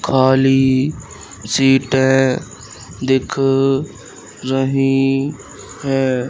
खाली सीटें दिख रही हैं।